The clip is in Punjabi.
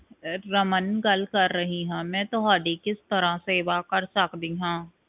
ਤੋਂ ਰਮਨ ਗੱਲ ਕਰ ਰਹੀ ਆ ਮੈਂ ਤੁਹਾਡੀ ਕਿਸ ਤਰ੍ਹਾਂ ਸੇਵਾ ਕਰ ਸਕਦੀ ਆ